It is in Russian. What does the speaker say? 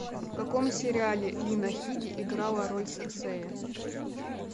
в каком сериале лина хиди играла роль серсея